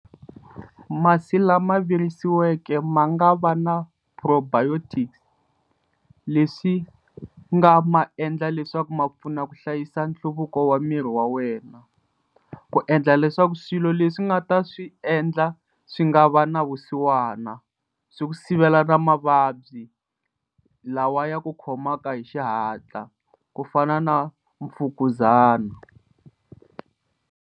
Masi lama virisiweke ma nga va na probiotic leswi nga ma endla leswaku ma pfuna ku hlayisa nhluvuko wa miri wa wena ku endla leswaku swilo leswi u nga ta swi endla swi nga va na vusiwana swi ku sivela na mavabyi lawa ya ku khomaka hi xihatla ku fana na mfukuzana.